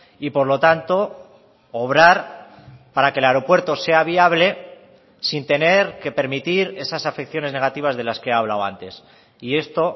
y por lo tanto obrar para que el aeropuerto sea viable sin tener que permitir esas afecciones negativas de las que he hablado antes y esto